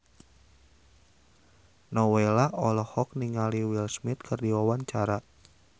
Nowela olohok ningali Will Smith keur diwawancara